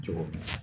Cogo min na